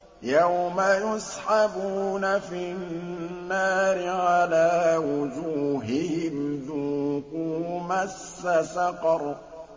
يَوْمَ يُسْحَبُونَ فِي النَّارِ عَلَىٰ وُجُوهِهِمْ ذُوقُوا مَسَّ سَقَرَ